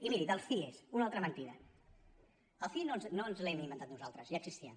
i miri dels cie una altra mentida els cie no ens els hem inventat nosaltres ja existien